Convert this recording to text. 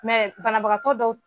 Mɛ banabagatɔ dɔw